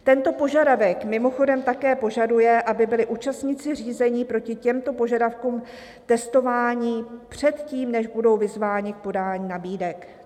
"Tento požadavek mimochodem také požaduje, aby byli účastníci řízení proti těmto požadavkům testováni před tím, než budou vyzváni k podání nabídek."